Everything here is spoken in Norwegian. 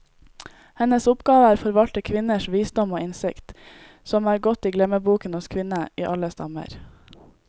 Hennes oppgave er å forvalte kvinners visdom og innsikt, som er gått i glemmeboken hos kvinnene i alle stammer.